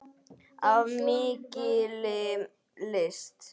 Af mikilli lyst.